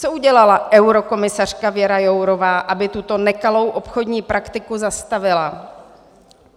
Co udělala eurokomisařka Věra Jourová, aby tuto nekalou obchodní praktiku zastavila?